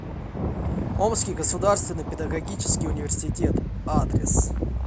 омский государственный педагогический университет адрес